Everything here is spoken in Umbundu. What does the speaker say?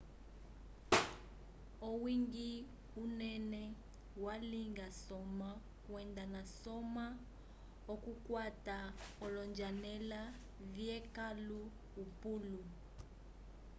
owiñgi unene walinga soma kwenda nasoma okukwata olonjanela vyekãlu upulu